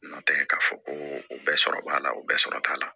Nɔntɛ k'a fɔ ko o bɛɛ sɔrɔ b'a la o bɛɛ sɔrɔ t'a la